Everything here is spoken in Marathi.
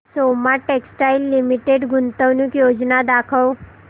सोमा टेक्सटाइल लिमिटेड गुंतवणूक योजना दाखव